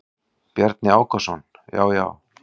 Bjarni Ákason: Já já.